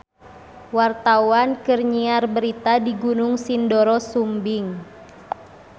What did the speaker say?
Wartawan keur nyiar berita di Gunung Sindoro Sumbing